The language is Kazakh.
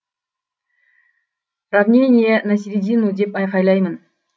равнение на середину деп айқайлаймын